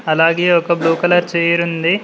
అలాగే ఒక blue colour chair ఉంది.